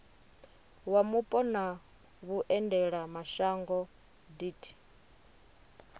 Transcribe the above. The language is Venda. wa mupo na vhuendelamashango deat